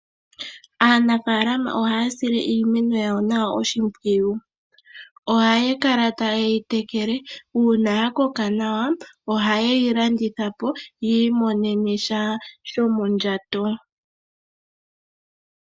Aanafaalama ohaya sile iimeno yawo nawa oshimpwiyu. Ohaya kala tayeyi tekele, uuna ya koka nawa ohayeyi landitha po yiimonene sha shomondjato.